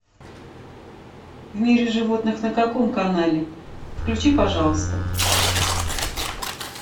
в мире животных на каком канале включи пожалуйста